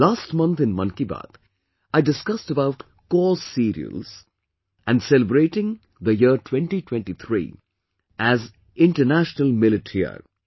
Last month in 'Mann Ki Baat', I discussed about coarse cereals, and celebrating the year 2023 as 'International Millet Year'